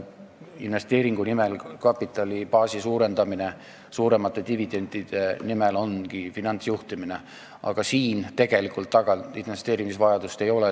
Investeeringuga kapitalibaasi suurendamine suuremate dividendide nimel ongi finantsjuhtimine, aga siin tegelikult investeerimisvajadust mängus ei ole.